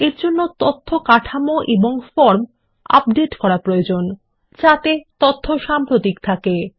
এর জন্য তথ্য কাঠামো এবং ফর্ম উপাদতে করা প্রয়োজন যাতে তথ্য সাম্প্রতিক থাকে